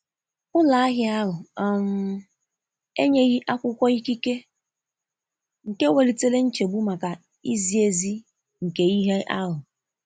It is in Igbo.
Ụlọ ahịa ahụ um enyeghị akwụkwọ ikike, nke welitere nchegbu maka izi ezi nke ihe ahụ.